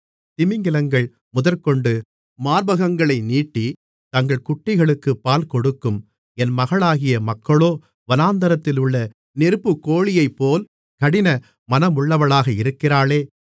திமிங்கிலங்கள் முதற்கொண்டு மார்பகங்களை நீட்டி தங்கள் குட்டிகளுக்குப் பால் கொடுக்கும் என் மகளாகிய மக்களோ வனாந்தரத்திலுள்ள நெருப்புக்கோழியைப்போல் கடின மனமுள்ளவளாக இருக்கிறாளே